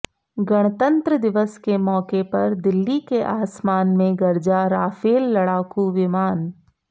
गणतंत्र दिवस के मौके पर दिल्ली के आसमान में गरजा राफेल लड़ाकू विमान